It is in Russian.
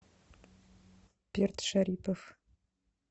перт шарипов